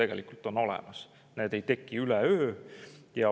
Ega ei teki üleöö.